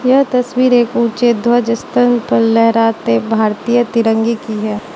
यह तस्वीर एक ऊंचे ध्वज स्थल पर लहराते भारतीय तिरंगे की है।